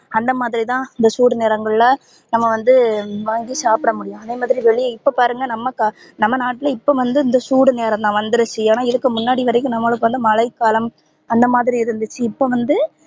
அந்த மாதிரிதா இந்த சூடு நேரங்கள்ல நம்ப வந்து வாங்கி சாப்ட முடியும் அதே மாதிரி வெளிய இப்ப பாருங்க நமக்கு நம்ப நாட்ல இப்போ வந்து சூடு நேரம்தா வந்துருச்சி ஏனா இதுக்கு முன்னாடி வரைக்கும் நம்மளுக்கு வந்து மழை காலம் அந்த மாதிரி இருந்துச்சி இப்போ வந்து